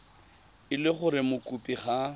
e le gore mokopi ga